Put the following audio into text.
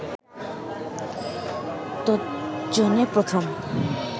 তজ্জন্য প্রথম